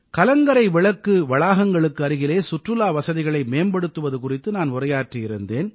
கலங்கரை விளக்கு வளாகங்களுக்கு அருகிலே சுற்றுலா வசதிகளை மேம்படுத்துவது குறித்து நான் உரையாற்றியிருந்தேன்